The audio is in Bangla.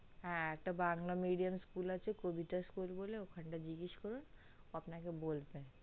হা একটা বাংলা medium school কবিতা বলে আছে ওখানটায় জিজ্ঞাস করুন আপনাকে বলবে